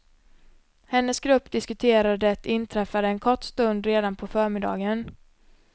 Hennes grupp diskuterade det inträffade en kort stund redan på förmiddagen.